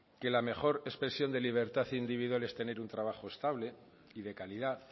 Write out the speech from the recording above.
que la mejor expresión de libertad individual es tener un trabajo estable y de calidad